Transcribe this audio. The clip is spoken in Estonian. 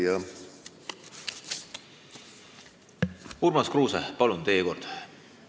Urmas Kruuse, palun, teie kord!